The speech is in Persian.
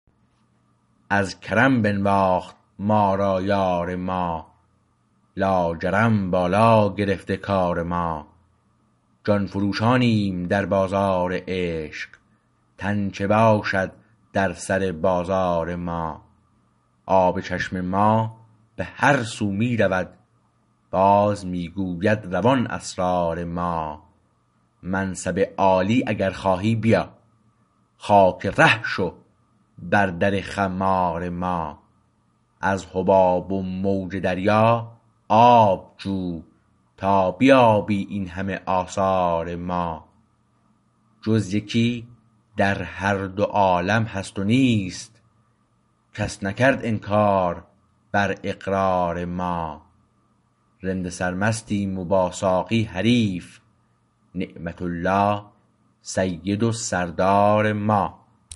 از کرم بنواخت ما را یار ما لاجرم بالا گرفته کار ما جان فروشانیم در بازار عشق تن چه باشد در سر بازار ما آب چشم ما به هر سو می رود باز می گوید روان اسرار ما منصب عالی اگر خواهی بیا خاک ره شو بر در خمار ما از حباب و موج دریا آب جو تا بیابی این همه آثار ما جز یکی در هر دو عالم هست نیست کس نکرد انکار بر اقرار ما رند سرمستیم و با ساقی حریف نعمت الله سید و سردار ما